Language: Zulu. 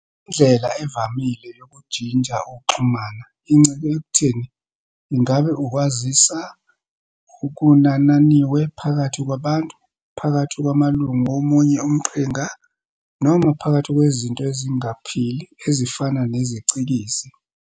Indlela evamile yokujinja ukuxhumana incike ekutheni ingabe ukwaziswa kunananiwe phakathi kwabantu, phakathi kwamalunga womunye umqhinqa, noma phakathi kwezinto ezingaphili ezifana nezicikizi.